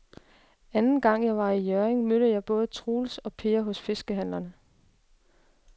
Anden gang jeg var i Hjørring, mødte jeg både Troels og Per hos fiskehandlerne.